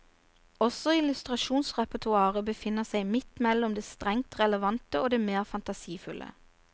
Også illustrasjonsrepertoaret befinner seg midt mellom det strengt relevante og det mer fantasifulle.